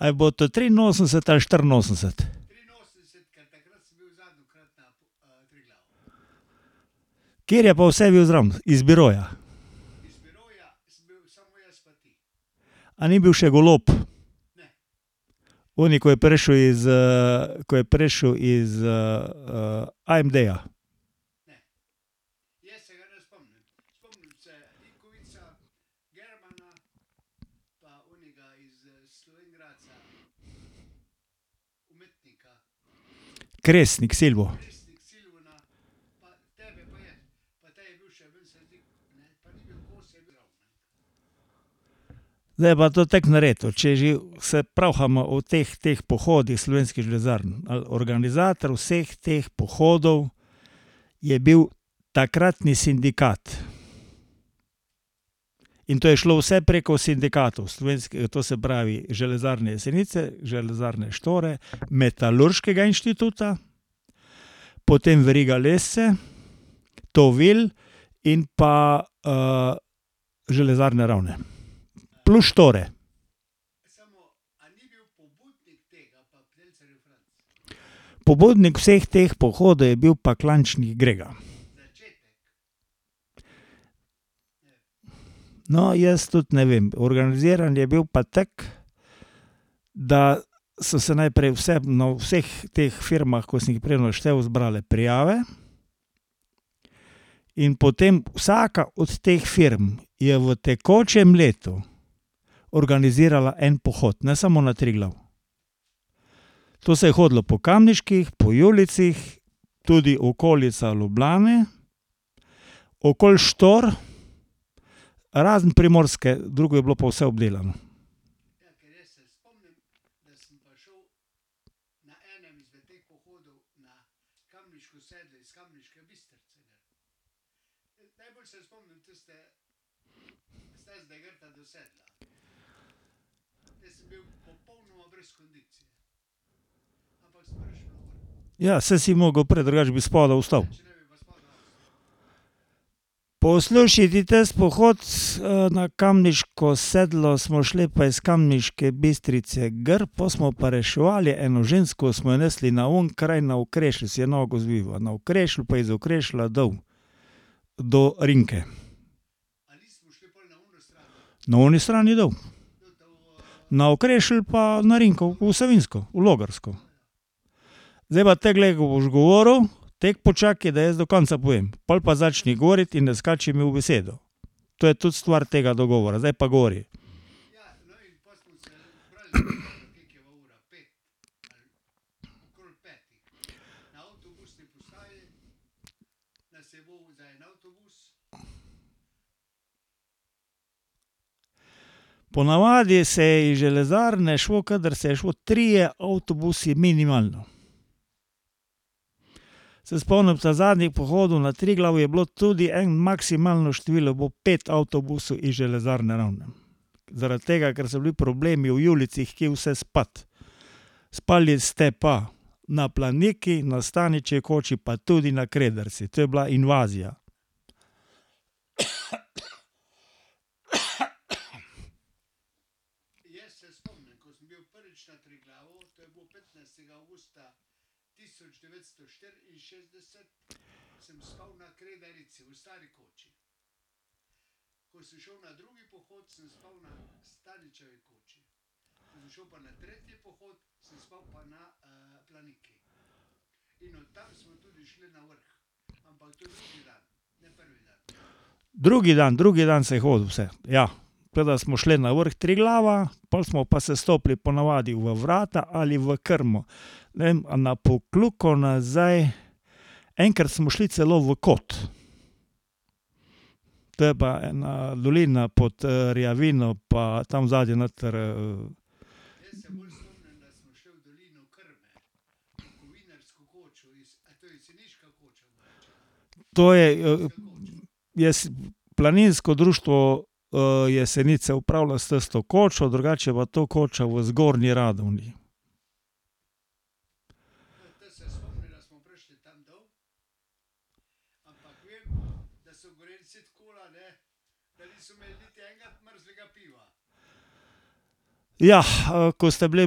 A je bilo to triinosemdeset ali štiriinosemdeset? Kateri je pa vse bil zraven, iz biroja? A ni bil še Golob? Oni, ko je prišel iz, ko je prišel iz, AMD-ja. [ime in priimek] . Zdaj je pa to tako narejeno, če že se pravhama o teh, teh pohodih Slovenskih železarn, ali organizator vseh teh pohodov je bil takratni sindikat. In to je šlo vse preko sindikatov to se pravi Železarne Jesenice, Železarne Štore, Metalurškega inštituta, potem Veriga Lesce, Tovil in pa Železarne Ravne. Plus Štore. Pobudnik vseh teh pohodov je bil pa [ime in priimek] . No, jaz tudi ne vem. Organiziran je bil pa tako, da so se najprej vse na vseh teh firmah, ko sem jih prej naštel, zbrale prijave, in potem vsaka od teh firm je v tekočem letu organizirala en pohod, ne samo na Triglav. To se je hodilo po Kamniških, po Julijcih, tudi okolica Ljubljane, okoli Štor. Razen Primorske, drugo je bilo pa vse obdelano. Ja, saj si mogel prej, drugače bi spodaj ostal. Poslušaj ti, tisti pohod na Kamniško sedlo smo šli pa iz Kamniške Bistrice gor, pol smo pa reševali eno žensko, smo jo nesli na oni kraj na Okrešelj, si je nogo zvila. Na Okrešlju pa iz Okrešlja dol do Rinke. Na oni strani dol. Na Okrešelj pa na Rinko v Savinjsko, v Logarsko. Zdaj pa tako, glej, ko boš govoril, tako počakaj, da jaz do konca povem, pol pa začni govoriti in ne skači mi v besedo. To je tudi stvar tega dogovora. Zdaj pa govori. Ponavadi se je iz železarne šlo, kadar se je šlo, trije avtobusi minimalno. Se spomnim, ta zadnjih pohodov na Triglav je bilo tudi en maksimalno število po pet avtobusov iz Železarne Ravne. Zaradi tega, ker so bili problemi v Julijcih, kje vse spati. Spali ste pa na Planiki, na Staničevi koči pa tudi na Kredarici. To je bila invazija. Drugi dan, drugi dan se je hodilo vse, ja, tako da smo šli na vrh Triglava, pol smo pa sestopili ponavadi v Vrata ali v Krmo. Ne vem, a na Pokljuko nazaj ... Enkrat smo šli celo v Kot. To je pa ena dolina pod Rjavino, pa tam zadaj noter, To je ... Planinsko društvo Jesenice upravlja s tisto kočo, drugače je pa to koča v Zgornji Radgoni. Jah, ko ste bili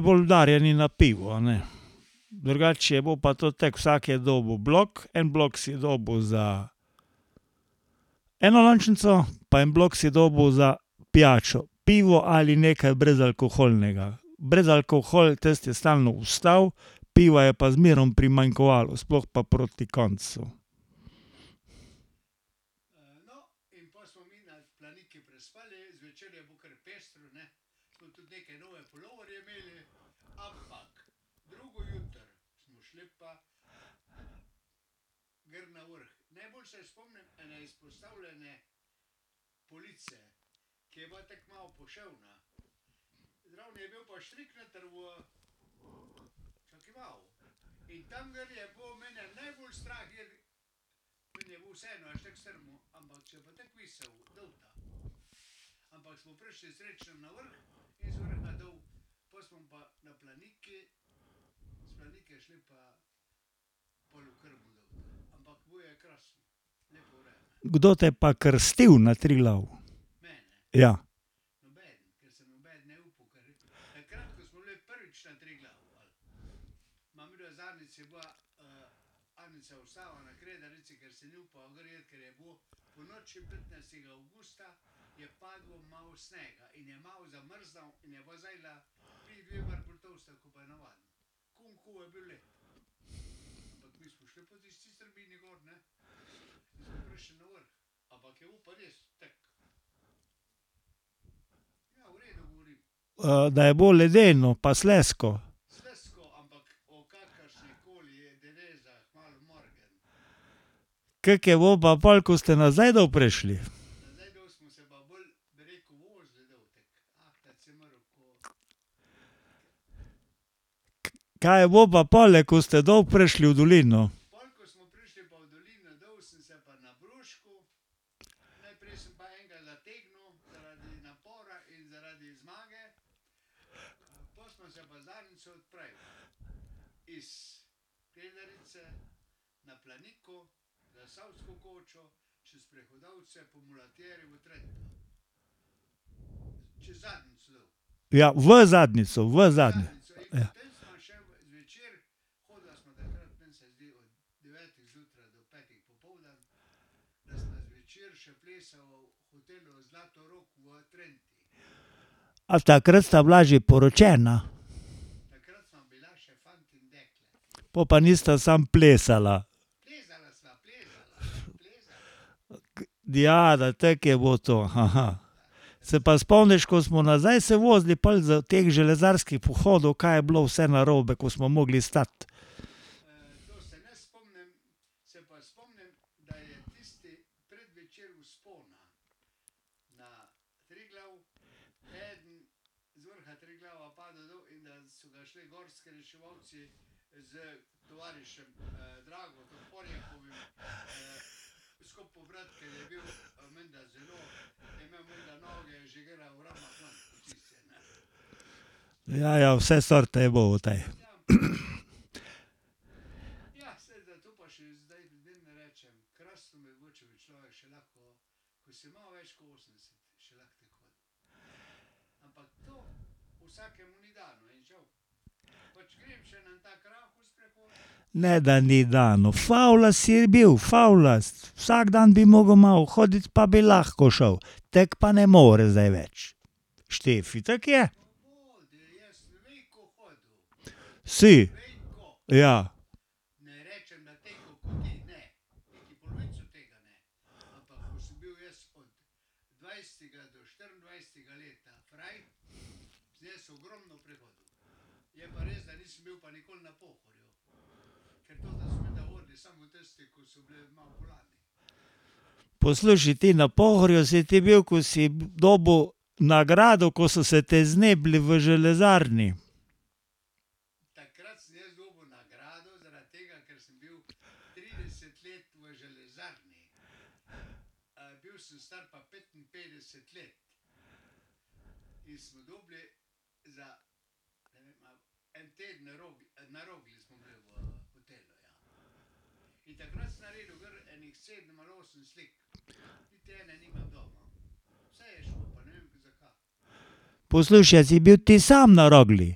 bolj udarjeni na pivo, a ne. Drugače je bilo pa to tako, vsak je dobil blok, en blok si dobil za enolončnico, pa en blok si dobil za pijačo, pivo ali nekaj brezalkoholnega. Brezalkohol, tisti je stalno ostal, piva je pa zmeraj primanjkovalo, sploh pa proti koncu. Kdo te je pa krstil na Triglavu? Ja. da je bilo ledeno pa slizko. Kako je bilo pa pol, ko ste nazaj dol prišli? Kaj je bilo pa pole, ko ste dol prišli v dolino? Ja v Zadnjico, v Ja. A takrat sta bila že poročena? Po pa nista samo plesala. Ja, na tako je bilo to. Se pa spomniš, ko smo nazaj se vozili pol s teh železarskih pohodov, kaj je bilo vse narobe, ko smo mogli stati. Ja, ja vse sorte je tej. Ne, da ni dano, favljast si bil, favljast. Vsak dan bi mogel malo hoditi, pa bi lahko šel. Tako pa ne moreš zdaj več. Štefi, tako je. Si, ja. Poslušaj, ti, na Pohorju si ti bil, ko si dobil nagrado, ko so se te znebili v železarni. Poslušaj, a si bil ti sam na Rogli?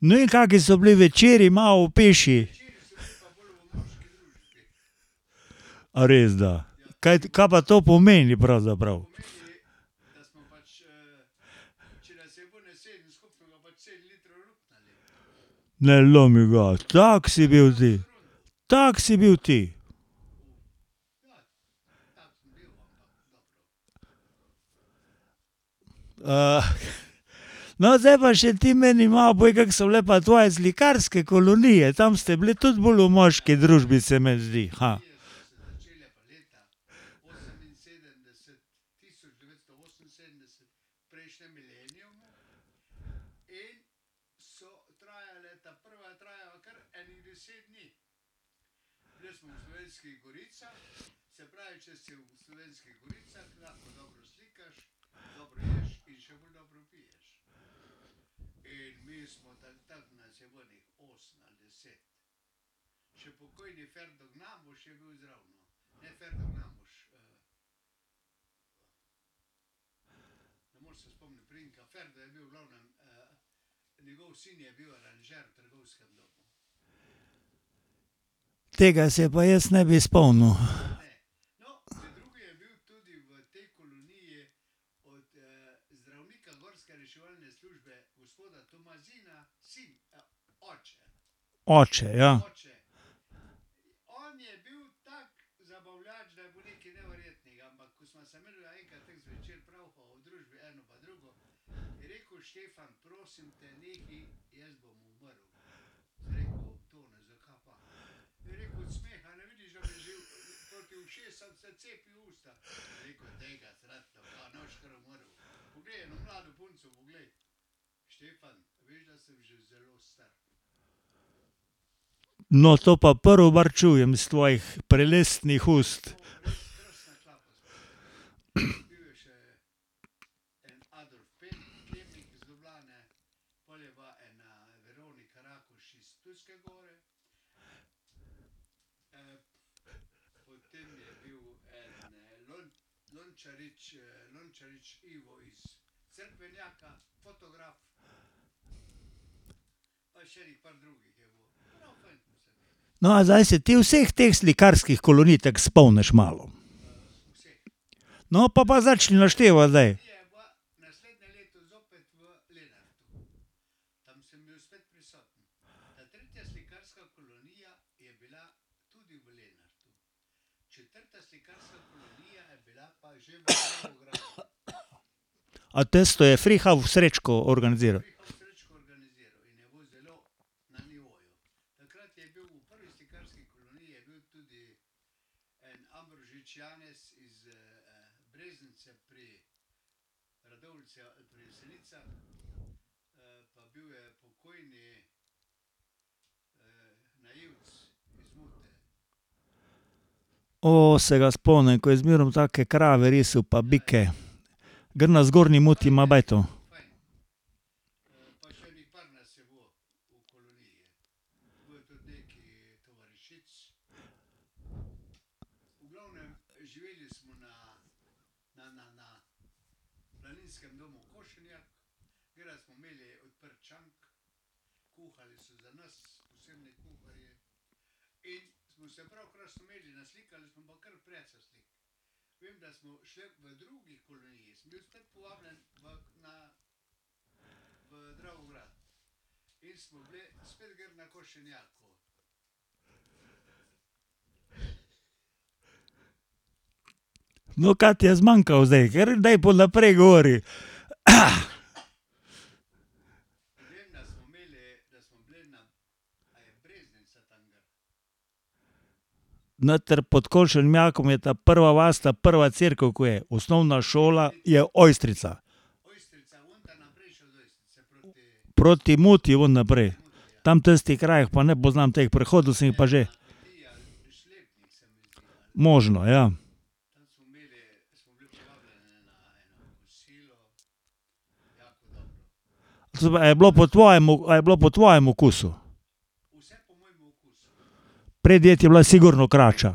No, in kaki so bili večeri, malo opiši. A res, da? kaj pa to pomeni pravzaprav? Ne lomi ga, tak si bil ti? Tak si bil ti? ... No, zdaj pa še ti meni malo povej, kako so bile pa tvoje slikarske kolonije? Tam ste bili tudi bolj v moški družbi, se meni zdi, Tega se pa jaz ne bi spomnil. Oče, ja. No, to pa čujem iz tvojih prelestnih ust. No, a zdaj se ti vseh teh slikarskih kolonij tako spomniš malo? No, pol pa začni naštevati zdaj. A tisto je [ime in priimek] organiziral? se ga spomnim, ko je zmeraj take krave risal pa bike. Gor na Zgornji Muti ima bajto. No, kaj ti je zmanjkalo zdaj, ker daj pol naprej govori. Noter pod je ta prva vas, ta prva cerkev, ko je osnovna šola, je Ojstrica. Proti Muti ven naprej. Tam tistih krajev pa ne poznam, te prehodu sem jih pa že. Možno, ja. Se pravi, a je bilo po tvojem, a je bilo po tvojem okusu? Predjed je bila sigurno krača.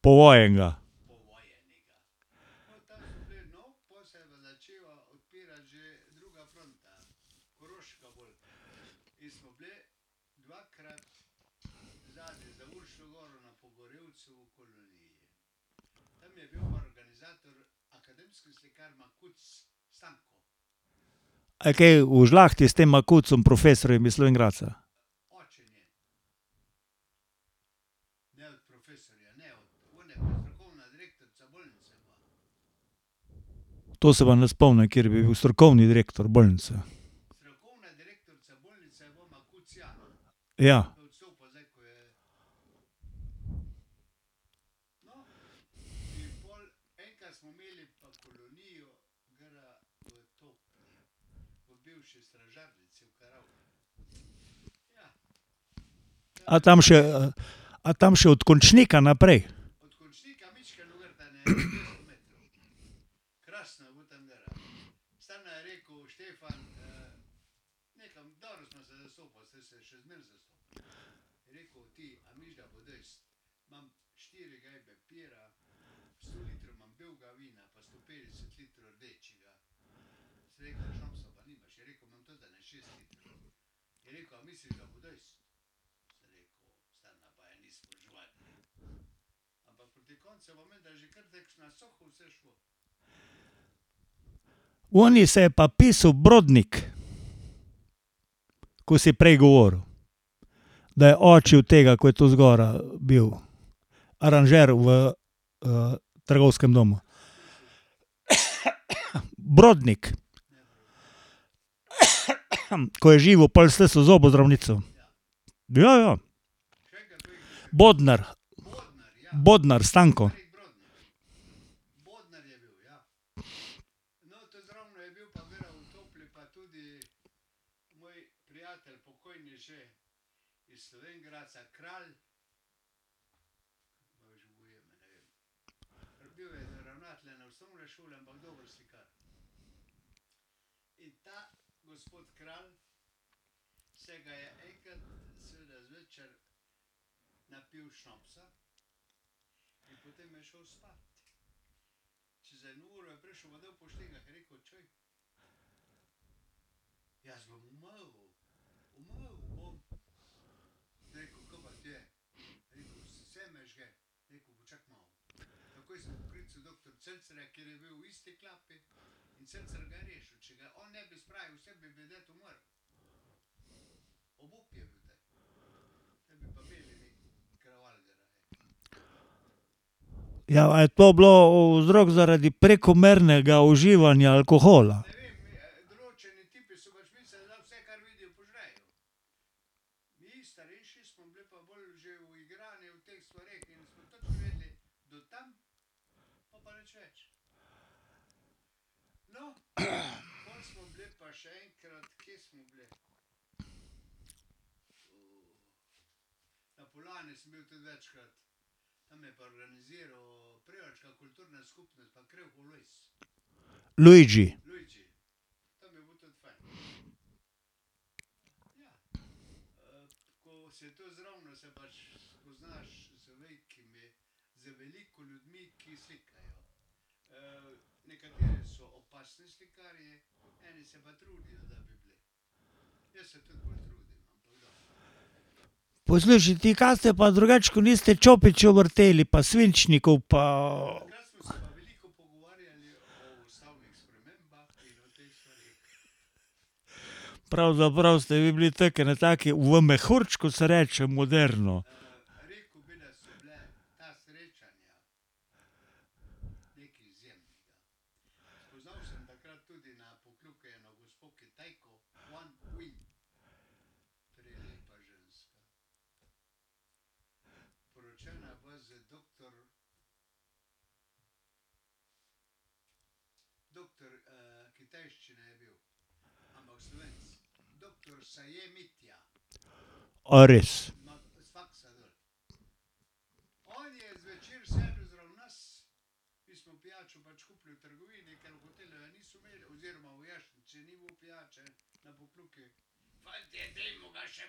Povojenega. A je kaj v žlahti s tem Makucem, profesorjem iz Slovenj Gradca? To se pa ne spomnim, kateri bi bil strokovni direktor bolnice. Ja. A tam še, a tam še od Končnika naprej? Oni se je pa pisal Brodnik. Ko si prej govoril. Da je oče od tega, ko je tudi zgoraj bil. Aranžer v trgovskem domu. Brodnik. Ko je živel pol s tisto zobozdravnico. Ja, ja. Bodnar. [ime in priimek] . Ja, a je to bilo vzrok zaradi prekomernega uživanja alkohola? Luigi. Poslušaj ti, kaj ste pa drugače, kot niste čopičev vrteli pa svinčnikov pa ... Pravzaprav ste vi bili tako v eni taki, v mehurčku se reče moderno. A res? Prav, se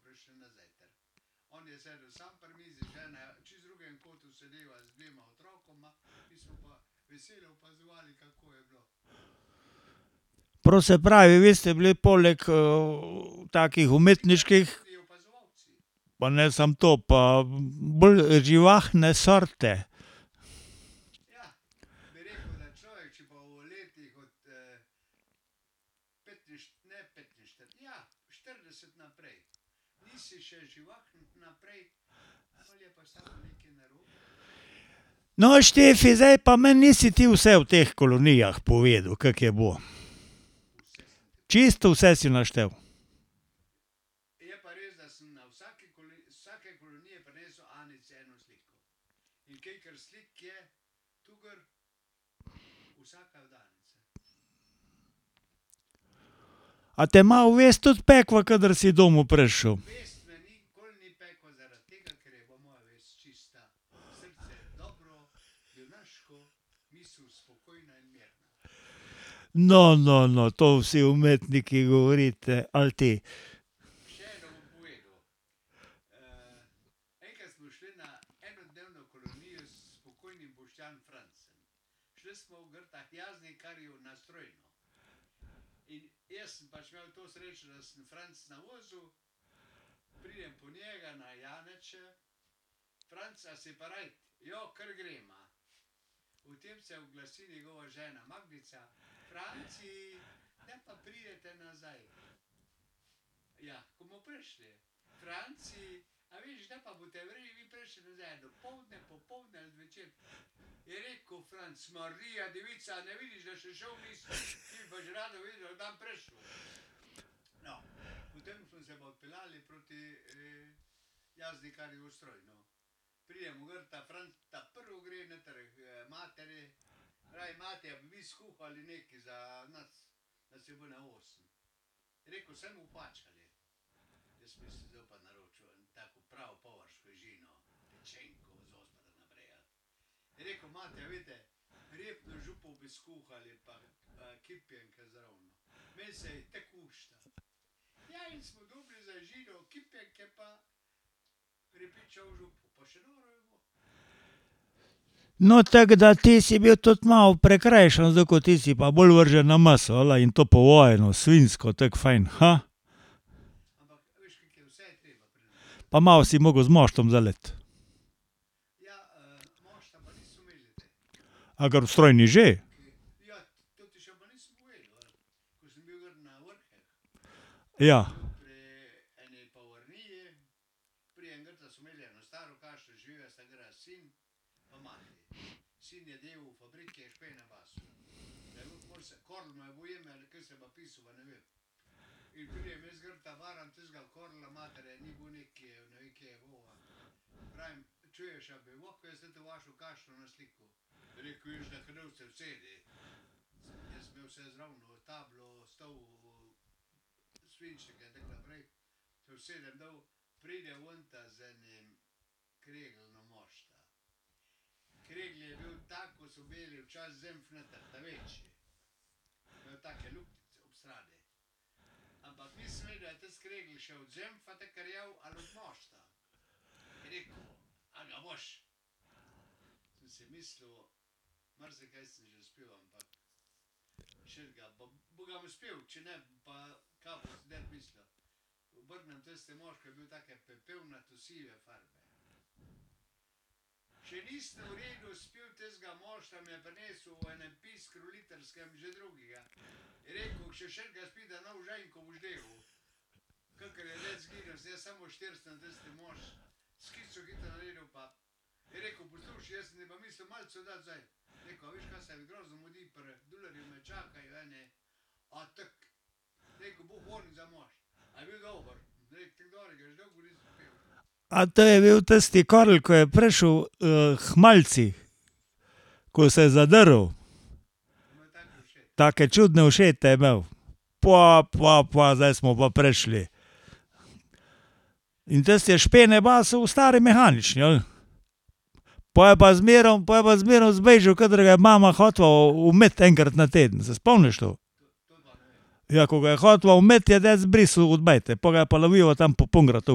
pravi, vi ste bili poleg takih umetniških ... Pa ne samo to, pa bolj živahne sorte. No, Štefi, zdaj pa meni nisi ti vse o teh kolonijah povedal, kako je bilo. Čisto vse si naštel? A te malo vest tudi pekla, kadar si domov prišel? No, no, no, to vsi umetniki govorite, ali ti? No, tako da ti si bil tudi malo prikrajšan, zato ko ti si pa bolj vržen na meso, ela, in to povojeno, svinjsko, tako fajn, Pa malo si mogel z moštom zaliti. A gor v Strojni že? Ja. A to je bil tisti Karel, ko je prišel k malici? Ko se je zadrl? Take čudne ušete je imel. Pva, pva, pva zdaj smo pa prišli. In tisti je špene basal v stari mehanični, ali? Po je pa zmerom, pol je pa zmerom zbežal, kadar ga je mama hotela umiti enkrat na teden. Se spomniš to? Ja, ko ga je hotela umiti, je dec brisal od bajte, pol ga je pa lovila tam po Pungratu